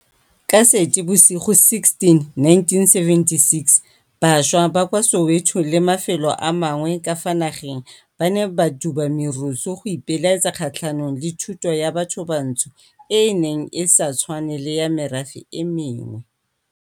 Ka Seetebosigo 16 1976, bašwa ba kwa Soweto le mafelo a mangwe ka fa nageng ba ne ba duba merusu go ipelaetsa kgatlhanong le Thuto ya Bathobantsho e e neng e sa tshwane le ya merafe e mengwe.